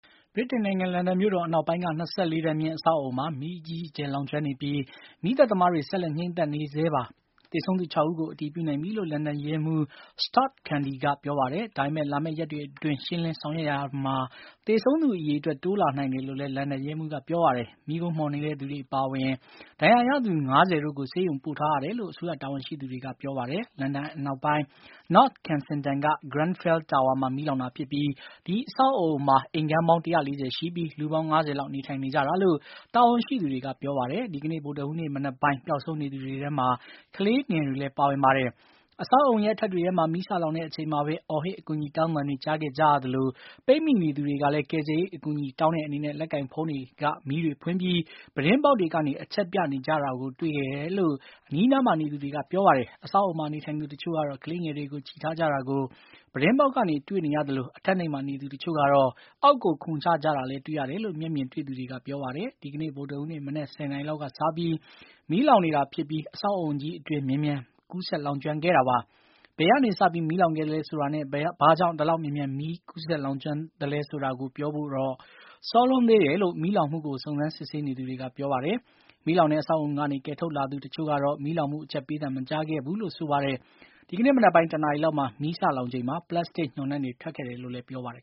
ဗြိတိန် နိုင်ငံ လန်ဒန်မြို့တော် အနောက်ပိုင်းက ၂၄ ထပ်မြင့် အဆောက်အအုံမှာ မီးအကြီးအကျယ် လောင်ကျွမ်းနေပြီး မီးသတ်သမားတွေ ဆက်လက် ငြှိမ်းသတ်နေရဆဲ ဖြစ်ပါတယ်။ သေဆုံးသူ ၆ ဦးကို အတည်ပြုနိုင်ပြီလို့ လန်ဒန် ရဲမှူး Stuart Cundy က ပြောပါတယ်။ ဒါပေမယ့် လာမယ့် ရက်တွေ အတွင်း ရှင်းလင်း ဆောင်ရွက်မှုတွေမှာ သေဆုံးသူ အရေအတွက် တိုးလာနိုင်တယ်လို့လည်း လန်ဒန် ရဲမှူးက ပြောပါတယ်။မီးခိုးမွှန်တဲ့သူတွေ အပါအဝင် ဒဏ်ရာရသူ ၅၀ တို့ကို ဆေးရုံပို့ထားတယ်လို့ အစိုးရ တာဝန်ရှိသူတွေက ပြောပါတယ်။ လန်ဒန် အနောက်ပိုင်း North Kensington က Grenfell Tower မှာ မီးလောင်တာဖြစ်ပြီး ဒီအဆောက်အအုံမှာ အိမ်ခန်းပေါင်း ၁၄၀ ရှိပြီး လူပေါင်း ၅၀၀ လောက် နေထိုင်နေကြတာလို့ တာဝန်ရှိသူတွေက ပြောပါတယ်။ ဒီကနေ့ ဗုဒ္ဓဟူးနေ့ မနက်ပိုင်း ပျောက်ဆုံးနေသူတွေထဲမှာ ကလေးတွေလည်း ပါဝင်ပါတယ်။ အဆောက်အအုံရဲ့ အထပ်တွေမှာ မီးစလောင်တဲ့ အချိန်မှာဘဲ အော်ဟစ် အကူအညီတောင်းသံတွေ ကြာခဲ့ကြရသလို၊ပိတ်မိနေသူ တွေကလည်း ကယ်ဆယ်ရေး အကူအညီ တောင်းတဲ့ အနေနဲ့ လက်ကိုင်ဖုန်းတွေက မီးတွေဖွင့်ပြီး ပြူတင်းပေါက်တွေကနေ အချက်ပြ နေကြတာကိုလည်း တွေ့ခဲ့ကြရတယ်လို့ အနီးအနားမှာ နေသူတွေက ပြောပါတယ်။ အဆောက်အအုံမှာ နေထိုင်သူ တချို့ကတော့ ကလေးငယ်တွေကို ချီထားကြတာကို ပြူတင်းပေါက်ကနေ တွေ့နေရသလို၊ အထပ်နိမ့်မှာ နေသူ တချို့ကတော့ အောက်ကို ခုန်ချကြတာလည်း တွေ့ရတယ်လို့ မျက်မြင်တွေ့သူတွေက ပြောပါတယ်။ ဒီကနေ့ ဗုဒ္ဓဟူးနေ့ မနက် ၁ နာရီလောက်ကနေ စပြီး မီးလောင်နေတာ ဖြစ်ပြီး အဆောက်အအုံကြီး အတွင်း မြန်မြန် ကူးစက်လောင်ကျွမ်းနေတာပါ။ ဘယ်ကနေ စပြီး မီးလောင်ခဲ့သလဲဆိုတာနဲ့ ဘာကြောင့် ဒီလောက် မြန်မြန် မီးက ကူးစက်လောင်ကျွမ်းနေရသလဲ ဆိုတာကိုတော့ ပြောဖို့ စောလွန်းသေးတယ်လို့ မီးလောင်မှုကို စုံစမ်းစစ်ဆေးနေသူတွေက ပြောပါတယ်။ မီးလောင်တဲ့ အဆောက်အအုံကနေ ကယ်ထုတ်လာရသူ တချို့ကတော့ မီးလောင်မှု အချက်ပေးသံ မကြားခဲ့ဘူးလို့ ပြောပါတယ်။ ဒီကနေ့ မနက်ပိုင်း ၁ နာရီလောက်မှာ မီးစလောင်ချိန်မှာ ပလတ်စတစ် ညှော်နံ့တွေ ထွက်ခဲ့တယ်လို့လည်း ပြောကြပါတယ်